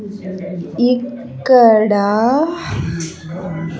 ఇక్కడ.